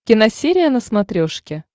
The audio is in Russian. киносерия на смотрешке